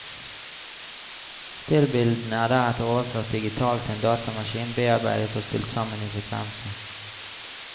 Stillbildene er deretter overført digitalt til en datamaskin, bearbeidet og stilt sammen i sekvenser.